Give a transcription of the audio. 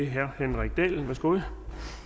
herre henrik dahl værsgo